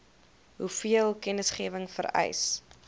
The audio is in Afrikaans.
hoeveel kennisgewing vereis